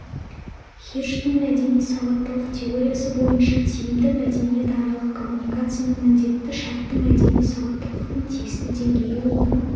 хирштің мәдени сауаттылық теориясы бойынша тиімді мәдениетаралық коммуникацияның міндетті шарты мәдени сауаттылықтың тиісті деңгейі оның